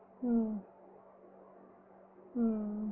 உம் உம்